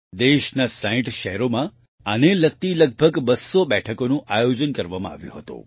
દેશના 60 શહેરોમાં આને લગતી લગભગ 200 બેઠકોનું આયોજન કરવામાં આવ્યું હતું